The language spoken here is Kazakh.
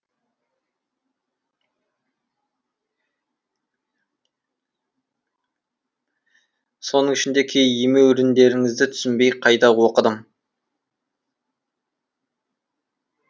соның ішінде кей емеуріндеріңізді түсінбей қайта оқыдым